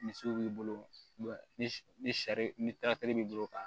Misiw b'i bolo ni ni sari ni b'i bolo ka